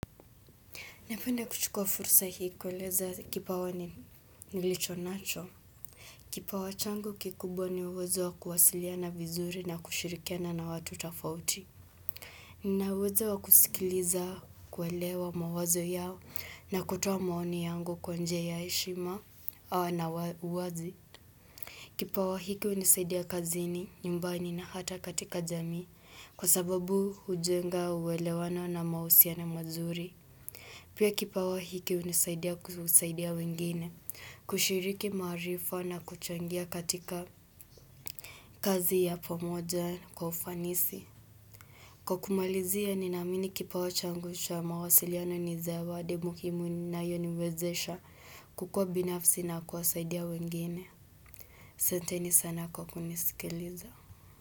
Napenda kuchukua fursa hii kueleza kipawa ni nilicho nacho. Kipawa changu kikubwa ni uwezo wa kuwasiliana vizuri na kushirikiana na watu tafauti. Ninauwezo wa kusikiliza kuelewa mawazo yao na kutoa maoni yangu kwa njia ya heshima au na uwazi. Kipawa hiki hunisaidia kazini nyumbani na hata katika jamii kwa sababu hujenga uelewano na mausiano mazuri. Pia kipawa hiki hunisaidia kusaidia wengine, kushiriki maarifa na kuchangia katika kazi ya pomoja kwa ufanisi. Kwa kumalizia, ninaamini kipawa changu cha mawasiliano ni zawadi muhimu inayoniwezesha kukua binafsi na kuwasaidia wengine. Asanteni sana kwa kunisikiliza.